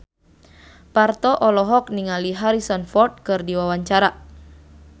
Parto olohok ningali Harrison Ford keur diwawancara